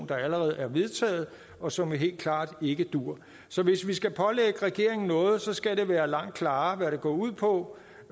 der allerede er vedtaget og som helt klart ikke duer så hvis vi skal pålægge regeringen noget så skal det være langt klarere hvad det går ud på